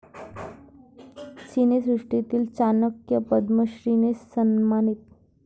सिनेसृष्टीतील 'चाणक्य' 'पद्मश्री'ने सन्मानित!